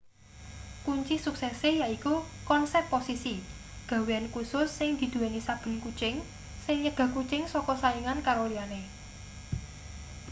kunci suksese yaiku konsep posisi gawean kusus sing diduweni saben kucing sing nyegah kucing saka saingan karo liyane